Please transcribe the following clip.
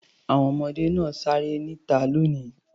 Àwọn ọmọdé náà á ṣeré níta lónìí.